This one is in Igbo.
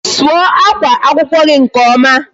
Sụọ akwa akwụkwọ gị nke ọma.